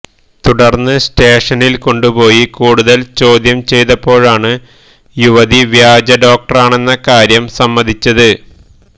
തുടര്ന്ന് സ്റ്റേഷനില് കൊണ്ടുപോയി കൂടുതല് ചോദ്യം ചെയ്തപ്പോഴാണ് യുവതി വ്യാജ ഡോക്ടറാണെന്ന കാര്യം സമ്മതിച്ചത്